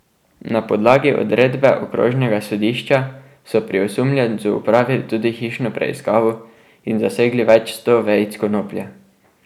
Na podlagi odredbe okrožnega sodišča so pri osumljencu opravili tudi hišno preiskavo in zasegli več sto vejic konoplje.